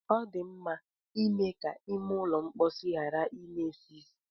Ọ dị mkpa ime ka ime ụlọ mkpọsi ghara ị na-esi ísì.